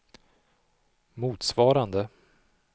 motsvarande